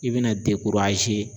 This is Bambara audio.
I bɛna